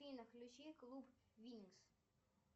афина включи клуб винкс